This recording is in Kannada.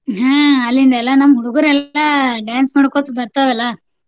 ಹ್ಮ್ ಅಲ್ಲಿಂದ ಎಲ್ಲಾ ನಮ್ಮ್ ಹುಡ್ಗುರೆಲ್ಲಾ dance ಮಾಡ್ಕೊತ ಬರ್ತಾವಲ್ಲಾ.